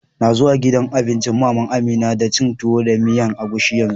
N'na zuwan gidan abincin mama'n Amina dan cin Tuwo da miyan agushi yanzu.